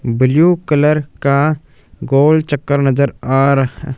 blue colour का गोल चक्कर नजर आ रहा--